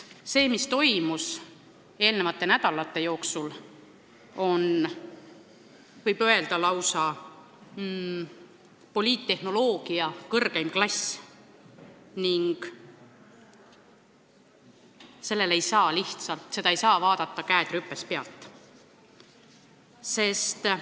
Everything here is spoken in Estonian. See, mis toimus eelmiste nädalate jooksul, on, võib öelda, lausa poliittehnoloogia kõrgeim klass ning seda ei saa käed rüpes pealt vaadata.